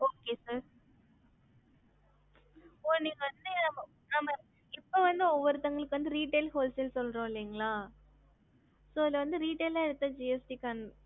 gst number போட்டு bill பன்னினும் gst number enroll பண்ணதும் gst number கிடச்சிட்டும் இப்போ வந்து ஒருத்தவங்களுக்கு retail wholesale சொல்றம் இல்லிங்களா ஆமா இப்போ வந்து